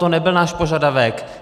To nebyl náš požadavek.